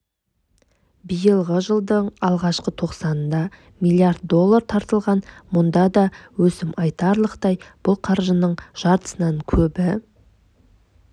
биылғы жылдың алғашқы тоқсанында млрд доллар тартылған мұнда да өсім айтарлықтай бұл қаржының жартысынан көбі